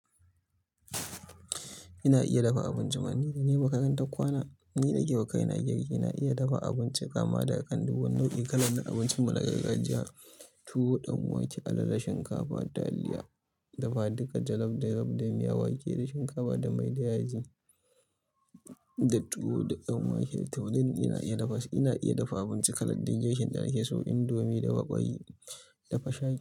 Ina iya dafa abinci. Ni danai makarantar kwana. Ni nake wa kai na girki. Ina iya dafa abinci kama daga kan duk wani nau'in. Kalar abincin mu na gargajiya, tuwo, ɗan wake, alala, shinkafa, taliya, dafa duka jallof, da miya wake da shinkafa da mai da yaji, da tuwo da ɗan wake. Toni duk ina iya dafa su, ina iya dafa abinci kalar duk girkin da nake so, indomie da ƙwai, dafa shaki.